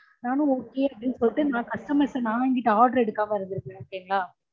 நானும் okay அப்டின்னு சொல்லிட்டு நான் customers ட நான் இங்கீட்டு order எடுக்காம இருந்துருப்பேன் okay ங்கலா